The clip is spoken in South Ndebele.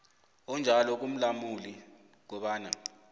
onjalo kumlamuli kobana